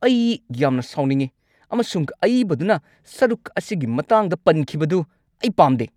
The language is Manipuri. ꯑꯩ ꯌꯥꯝꯅ ꯁꯥꯎꯅꯤꯡꯉꯤ ꯑꯃꯁꯨꯡ ꯑꯏꯕꯗꯨꯅ ꯁꯔꯨꯛ ꯑꯁꯤꯒꯤ ꯃꯇꯥꯡꯗ ꯄꯟꯈꯤꯕꯗꯨ ꯑꯩ ꯄꯥꯝꯗꯦ꯫